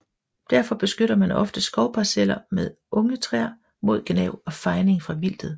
Derfor beskytter man ofte skovparceller med unge træer mod gnav og fejning fra vildtet